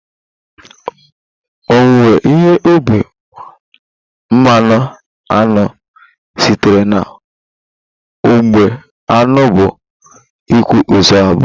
Owuwe ihe ubi mmanụ aṅụ sitere na ugbo aṅụ bụ kwa izu abụọ